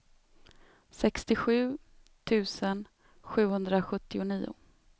sextiosju tusen sjuhundrasjuttionio